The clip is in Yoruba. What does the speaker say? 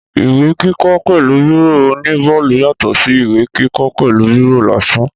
Ìwé kíkọ pẹ̀lú bírò oní bọọlu yàtọ̀ sí ìwé kíkọ pẹ̀lú bírò lásán